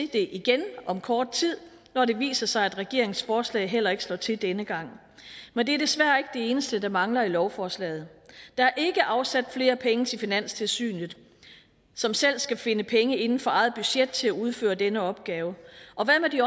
det igen om kort tid når det viser sig at regeringens forslag heller ikke slår til denne gang men det er desværre ikke det eneste der mangler i lovforslaget der er ikke afsat flere penge til finanstilsynet som selv skal finde penge inden for eget budget til at udføre denne opgave og hvad med de